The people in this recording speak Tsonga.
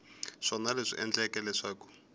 swona leswi swi endleke leswaku